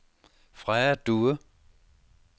Freja Due